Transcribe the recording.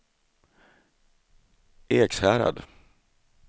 Ekshärad